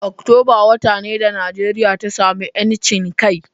Oktoba wata ne da Nijeriya ta samu ‘yancin kai.